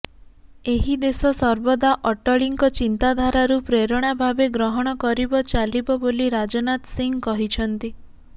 ଏହି ଦେଶ ସର୍ବଦା ଅଟଳୀଙ୍କ ଚିନ୍ତାଧାରାରୁ ପ୍ରେରଣା ଭାବେ ଗ୍ରହଣ କରିବ ଚାଲିବ ବୋଲି ରାଜନାଥ ସିଂ କହିଛନ୍ତି